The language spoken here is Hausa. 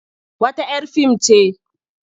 Wata 'yar fim ce.